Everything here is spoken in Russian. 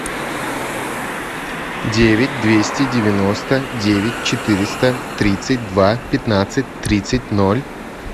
девять двести девяносто девять четыреста тридцать два пятнадцать тридцать ноль